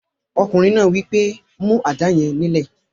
Ọkùnrin náà wí pé, "mú àdá yẹn nílẹ̀!"